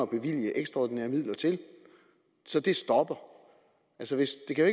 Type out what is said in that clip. bevilge ekstra midler til så det stopper altså det kan